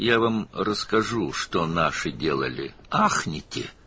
Mən sizə bizimkilərin nə etdiyini danışacağam, heyrət edəcəksiniz.